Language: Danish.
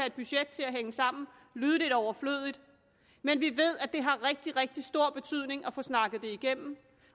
et budget til at hænge sammen lyde lidt overflødigt men vi ved at det har rigtig rigtig stor betydning at få snakket det igennem